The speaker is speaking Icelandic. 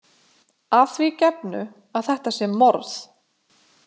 Að því gefnu að þetta sé morð.